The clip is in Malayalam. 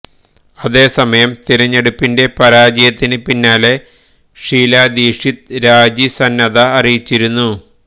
അതേസമയം തിരഞ്ഞെടുപ്പിന്റെ പരാജയത്തിന് പിന്നാലെ ഷീല ദീക്ഷിത് രാജി സന്നദ്ധത അറിയിച്ചിരുന്നു